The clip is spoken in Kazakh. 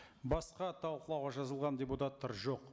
басқа талқылауға жазылған депутаттар жоқ